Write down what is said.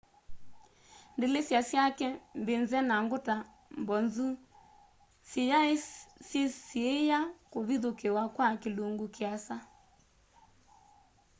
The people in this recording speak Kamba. ndilisa syake mbize na nguta mbonzu siyaisyisiiya kũvithukĩwa kwa kĩlũngũ kĩasa